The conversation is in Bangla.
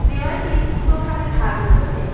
দেওয়ালটি দুটো ভাগে ভাগ রয়েছে।